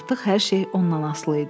Artıq hər şey ondan asılı idi.